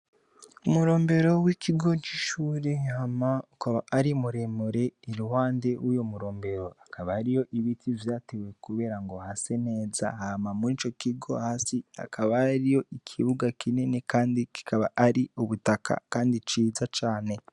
Umurombero w'ikigo c'ishure hama ukaba ari muremure iruhande yuwo murembero ukaba hariho ibiti vyatewe kuberengo hase neza hama mur'ico kigo hasi hakaba hariyo ikibuga kinini kandi kikaba ari ubutaka Kandi ciza cane.